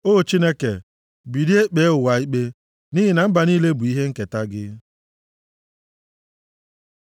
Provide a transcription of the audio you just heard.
O Chineke, bilie kpee ụwa ikpe, nʼihi na mba niile bụ ihe nketa gị.